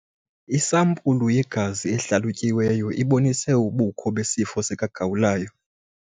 Isampulu yegazi ehlalutyiweyo ibonise ubukho besifo sikagawulayo.